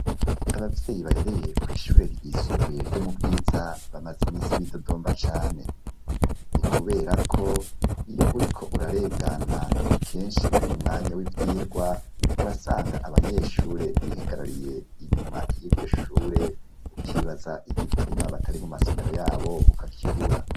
Abavyeyi barereye kw'ishure ryisumbuye ryo mu bwiza bamaze imisi b'idodomba cane ni, kubera ko iyo uri ko urarengana kenshi ari mu mwanya w'ivyirwa urasanga abanyeshure bihagarariye inyuma y'iryo shure ukibaza igituma batari mu masomero yabo uka kibura.